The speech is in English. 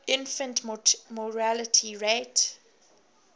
infant mortality rate